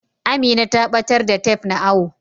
Amina ta batar da tef na awo.